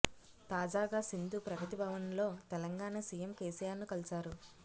తాజాగా సింధు ప్రగతి భవన్ లో తెలంగాణ సీఎం కేసీఆర్ ను కలిశారు